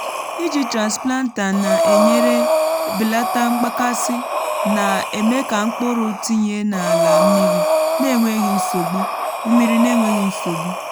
iji transplanter na-enyere belata mgbakasị na-eme ka mkpụrụ tinye n’ala mmiri n’enweghị nsogbu. mmiri n’enweghị nsogbu.